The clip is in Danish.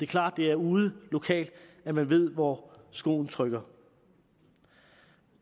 klart det er ude lokalt at man ved hvor skoen trykker